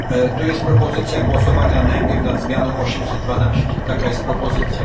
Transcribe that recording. Tu jest propozycja głosowania najpierw nad zmianą 812, taka jest propozycja.